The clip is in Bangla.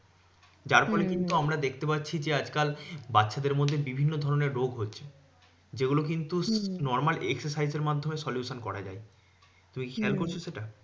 যার ফলে কিন্তু আমরা দেখতে পাচ্ছি যে আজকাল বাচ্চাদের মধ্যে বিভিন্ন ধরণের রোগ হচ্ছে যেগুলো কিন্তু normal exercise এর মাধ্যমে solution করা যায় তুমি কি খেয়াল করছো সেটা?